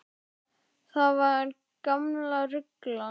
Það var gamla rullan.